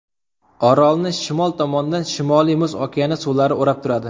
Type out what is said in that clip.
Orolni shimol tomondan Shimoliy Muz okeani suvlari o‘rab turadi.